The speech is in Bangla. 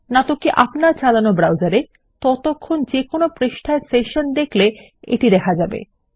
নাহলে আপনার চালানো ব্রাউসারে ততক্ষণ যেকোনো পৃষ্ঠার সেশন দেখলে এটি দেখা যাবে